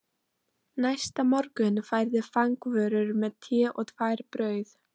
Næsta morgun færði fangavörður mér te og tvær brauð